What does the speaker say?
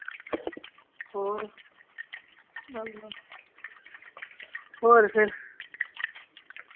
ਹੋਰ ਹੋਰ ਫੇਰ